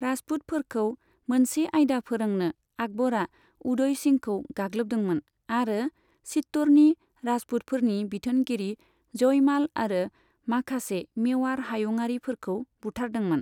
राजपुतफोरखौ मोनसे आयदा फोरोंनो आकबरा उदय सिंहखौ गाग्लोबदोंमोन आरो चित्त'रनि राजपुतफोरनि बिथोनगिरि जयमाल आरो माखासे मेवार हायुंआरिफोरखौ बुथारदोंमोन।